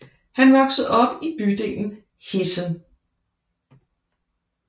Han voksede op i bydelen Heessen